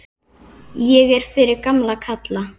Ég er fyrir gamla kalla.